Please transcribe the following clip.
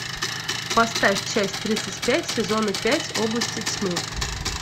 поставь часть тридцать пять сезона пять области тьмы